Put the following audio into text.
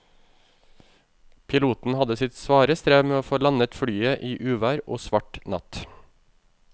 Piloten hadde sitt svare strev med å få landet flyet i uvær og svart natt.